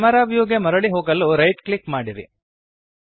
camera view ಗೆ ಮರಳಿ ಹೋಗಲು ರೈಟ್ ಕ್ಲಿಕ್ ಮಾಡಿರಿ